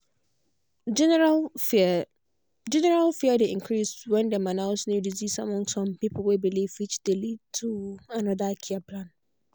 general fear general fear dey increase when dem announce new disease among some pipo way believe which dey lead to another care plan.